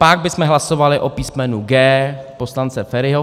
Pak bychom hlasovali o písmenu G poslance Feriho.